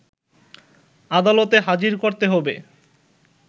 আদালতে হাজির করতে হবে